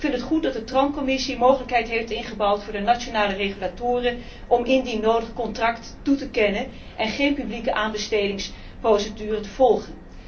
ik vind het goed dat de Commissie vervoer een mogelijkheid heeft ingebouwd voor de nationale regulatoren om, indien nodig, contracten toe te kennen en geen publieke aanbestedingsprocedure te volgen.